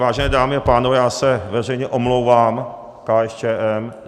Vážené dámy a pánové, já se veřejně omlouvám KSČM.